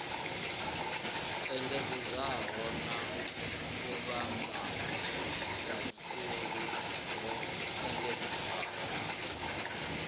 engedzeaho na vhuvhambadzaseli ho engedzeaho